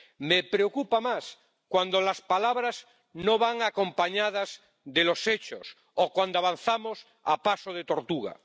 Me preocupa más cuando las palabras no van acompañadas de los hechos, o cuando avanzamos a paso de tortuga.